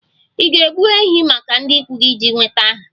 Ị ga-egbu ehi maka ndị ikwu gị iji nweta aha